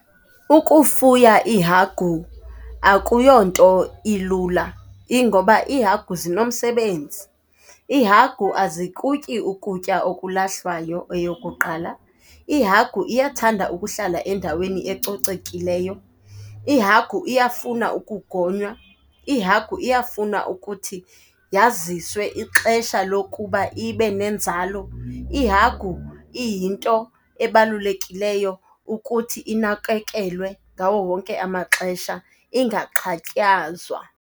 Ukufuya iihagu akuyonto ilula, ingoba iihagu zinomsebenzi. Iihagu azikutyi ukutya okulahlwayo, eyokuqala. Ihagu iyathanda ukuhlala endaweni ecocekileyo, ihagu iyafuna ukugonywa, ihagu iyafuna ukuthi yaziswe ixesha lokuba ibe nenzalo. Ihagu iyinto ebalulekileyo ukuthi inakekelwe ngawo wonke amaxesha, ingaxhatshazwa.